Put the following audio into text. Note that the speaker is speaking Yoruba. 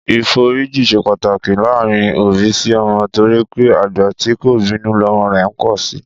Ìforíji ṣe pàtàki láàárín òbí sí ọmọ torí pé àgbà tí kò bínú lọmọ rẹ̀ ń pọ̀ si